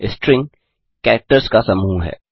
string characters का समूह है